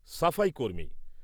সাফাই কর্মী